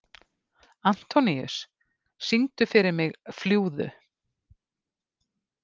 Antoníus, syngdu fyrir mig „Fljúgðu“.